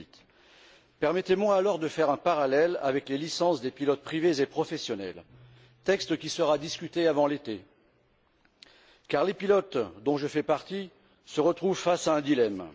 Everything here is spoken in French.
2008. Permettez moi alors de faire un parallèle avec les licences des pilotes privés et professionnels texte qui sera discuté avant l'été car les pilotes, dont je fais partie, se retrouvent face à un dilemme.